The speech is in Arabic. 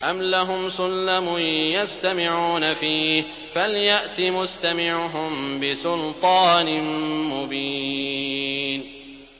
أَمْ لَهُمْ سُلَّمٌ يَسْتَمِعُونَ فِيهِ ۖ فَلْيَأْتِ مُسْتَمِعُهُم بِسُلْطَانٍ مُّبِينٍ